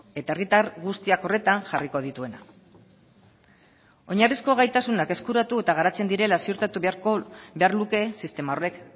eta herritar guztiak horretan jarriko dituena oinarrizko gaitasunak eskuratu eta garatzen direla ziurtatu behar luke sistema horrek